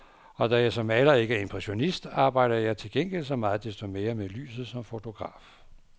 Og da jeg som maler ikke er impressionist, arbejder jeg til gengæld så meget desto mere med lyset som fotograf.